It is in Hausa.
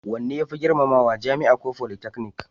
Wanne ya fi girmamawa, jami'a ko politeknik?